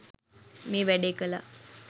මේ වැඩේ කළා.